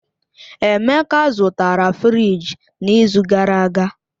Emeka zụtara fịrij n'izu gara aga